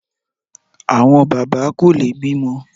Àwọn bàbá kò lè bímọ